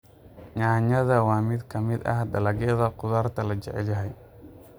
Yaanyada waa mid ka mid ah dalagyada khudaarta la jecel yahay.